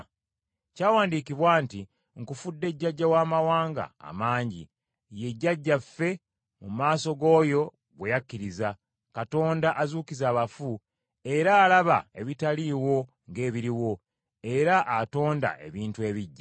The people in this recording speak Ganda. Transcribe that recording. Kyawandiikibwa nti, “Nkufudde jjajja w’amawanga amangi.” Ye jjajjaffe mu maaso g’oyo gwe yakkiriza, Katonda azuukiza abafu, era alaba ebitaliiwo ng’ebiriwo, era atonda ebintu ebiggya.